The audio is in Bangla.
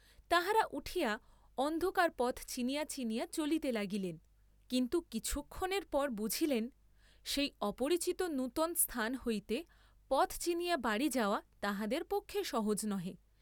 তাঁহারা উঠিয়া, অন্ধকারে পথ চিনিয়া চিনিয়া চলিতে লাগিলেন, কিন্তু কিছুক্ষণের পর বুঝিলেন, সেই অপরিচিত নূতন স্থান হইতে পথ চিনিয়া বাড়ী যাওয়া তাঁহাদের পক্ষে সহজ নহে।